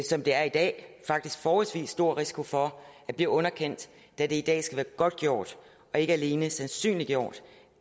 som det er i dag forholdsvis stor risiko for at blive underkendt da det i dag skal være godtgjort og ikke alene sandsynliggjort